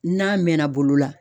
N'a mɛnna bolo la.